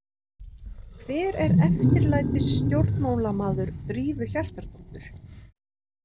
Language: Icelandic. Hver er eftirlætisstjórnmálamaður Drífu Hjartardóttur?